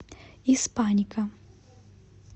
испаника